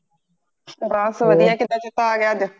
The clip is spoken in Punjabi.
ਬਸ ਵੱਦਿਆ ਕਿਦਾਂ ਚੇਤਾ ਆਗਿਆ ਅੱਜ